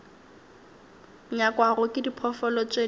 nyakwago ke diphoofolo tše di